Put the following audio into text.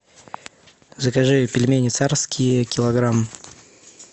закажи пельмени царские килограмм